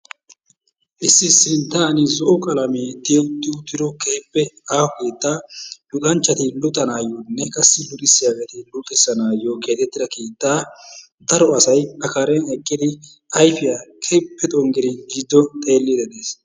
Issi sinttan zo'o qalamee tiyetti uttido aaho keettaa luxanchchati luxanaayyonne qassi luxissiyageeti luxissanaayyo keexettida keettaa daro asay a karen eqqidi ayifiya keehippe xonggidi giddo xeelliiddi de'es.